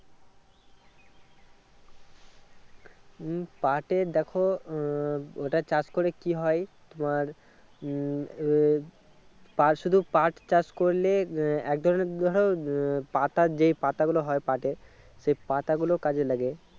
উম পাটের দেখো উম ওটা চাষ করে কি হয় তোমার উম এর আর শুধু পাট চাষ করলে আহ এক ধরনের ধরো আহ পাতা যেই পাতা গুলো হয় পাটের সেই পাতা গুলো কাজে লাগে।